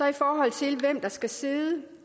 i forhold til hvem der skal sidde